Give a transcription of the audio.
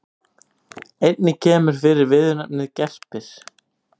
Einnig kemur fyrir viðurnefnið gerpir.